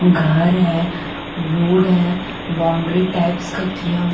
घर है रोड है बाउंड्री टाइप्स का किया--